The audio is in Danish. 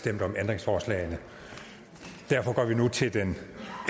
stemt om ændringsforslagene så derfor går vi nu til den